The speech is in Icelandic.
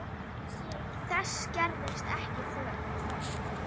Þess gerðist ekki þörf.